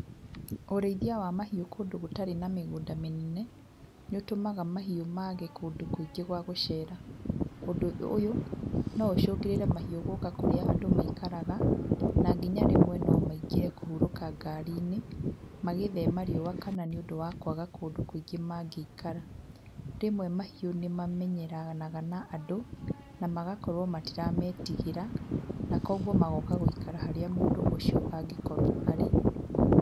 Ũrĩithia wa mahiũ kũndũ gũtarĩ na mĩgũnda mĩnene, nĩ ũtũmaga mahiũ mage kũndũ kũingĩ gwa gũcera, ũndũ ũyũ no ũcũngĩrĩre mahiũ gũka kũrĩa andũ maikaraga, na nginya rĩmwe no maingĩre kũhurũka ngaari-inĩ magĩthema riũa kana nĩ ũndũ wa kwaga kũndũ kũingĩ mangĩikara, rĩmwe mahiũ nĩ mamenyeranaga na andũ, na magakorwo matirametigĩra, na koguo magoka gũikara harĩa mũndũ ũcio angĩkorwo arĩ.